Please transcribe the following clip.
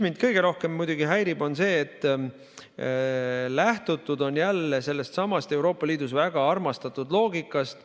Mind kõige rohkem muidugi häirib see, et lähtutud on jälle sellestsamast Euroopa Liidus väga armastatud loogikast.